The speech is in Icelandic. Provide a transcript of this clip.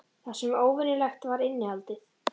Það sem var óvenjulegt var innihaldið.